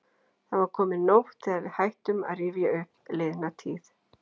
Það var komin nótt þegar við hættum að rifja upp liðna tíð.